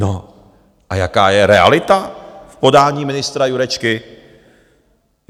No a jaká je realita v podání ministra Jurečky?